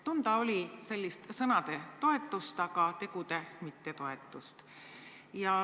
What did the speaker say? Tunda oli sellist sõnades toetamist, aga tegudes mittetoetamist.